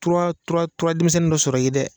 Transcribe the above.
Tura tura tura denmisɛnnin dɔ sɔrɔ i ye dɛ